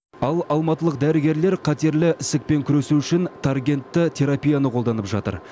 ал алматылық дәрігерлер қатерлі ісікпен күресу үшін таргентті терапияны қолданып жатыр